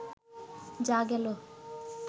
যাঃ গেল